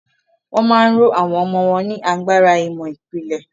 Wọ́n ma ń ró àwọn ọmọ wọn ní agbára ìmọ̀ ìpìlẹ̀.